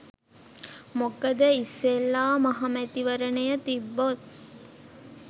මොකද ඉස්සෙල්ලා මහ මැතිවරණය තිබ්බොත්